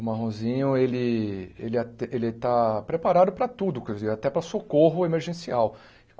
O Marronzinho, ele... Ele até ele está preparado para tudo, quer dizer, até para socorro emergencial.